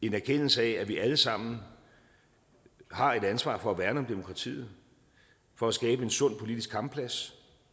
en erkendelse af at vi alle sammen har et ansvar for at værne om demokratiet og skabe en sund politisk kampplads